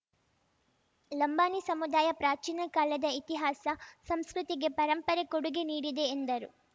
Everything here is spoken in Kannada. ಲಂಬಾಣಿ ಸಮುದಾಯ ಪ್ರಾಚೀನ ಕಾಲದ ಇತಿಹಾಸ ಸಂಸ್ಕೃತಿಗೆ ಪರಂಪರೆ ಕೊಡುಗೆ ನೀಡಿದೆ ಎಂದರು